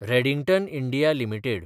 Redington India limited